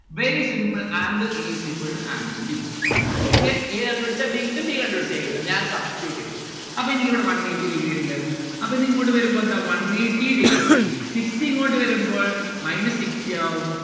very simple. angle a is equal to angle b. okay? a കണ്ട്‌ പിടിച്ച b കിട്ടും b കണ്ട്‌ പിടിച്ച a കിട്ടും. ഞാൻ substitute ചെയ്ത. അപ്പോ എനിക്കിവിടെ one eighty degree ഇണ്ട് അപ്പൊ ഇത് ഇങ്ങോട്ട് വരുമ്പോ എന്താ one eighty degree. sixty ഇങ്ങോട്ട് വരുമ്പോൾ minus sixty ആവും.